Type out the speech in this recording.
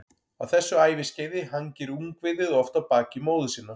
Á þessu æviskeiði hangir ungviðið oft á baki móður sinnar.